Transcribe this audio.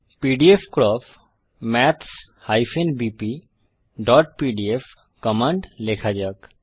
pdfcrop maths bpপিডিএফ command লেখা যাক